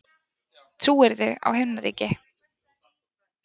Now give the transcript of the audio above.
Trúirðu á Himnaríki?